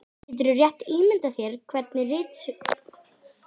Úti fyrir var herflokkur og allir hettuklæddir, hetturnar með hökustöllum.